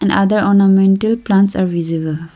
other ornamental plants are visible.